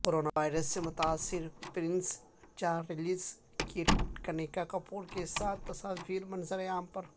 corona virus سے متاثر Prince Charles کی کنیکاکپور کیساتھ تصاویر منظر عام پر